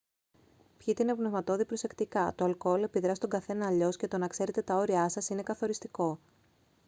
πιείτε οινοπνευματώδη προσεκτικά το αλκοόλ επιδρά στον καθένα αλλιώς και το να ξέρετε τα όριά σας είναι καθοριστικό